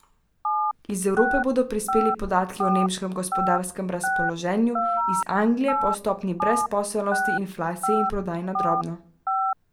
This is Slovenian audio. Iz Evrope bodo prispeli podatki o nemškem gospodarskem razpoloženju, iz Anglije pa o stopnji brezposelnosti, inflaciji in prodaji na drobno.